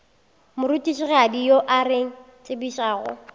morutišigadi yo a re tsebišago